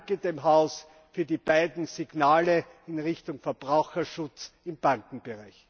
Ich danke dem Haus für die beiden Signale in Richtung Verbraucherschutz im Bankenbereich.